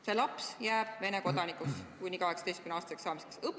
See laps jääks Vene kodanikuks kuni 18-aastaseks saamiseni.